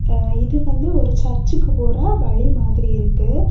இது வந்து ஒரு சர்ச்சுக்கு போற வழி மாதிரி இருக்கு.